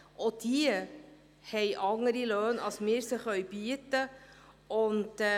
Auch diese haben andere Löhne, als wir sie bieten können.